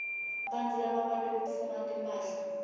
bantfu labakwati kutfunga timphahla